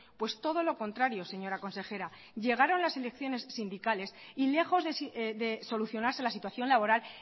pues todo lo contrario señora consejera llegaron las elecciones sindicales y lejos de solucionarse la situación laboral